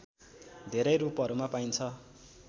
धेरै रूपहरूमा पाइन्छ